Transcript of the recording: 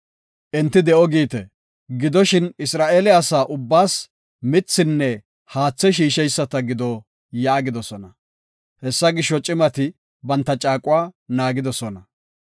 Enti de7o giite. Gidoshin Isra7eele asa ubbaas mithinne haathe shiisheyisata gido” yaagidosona. Hessa gisho, cimati banta caaquwa naagidosona.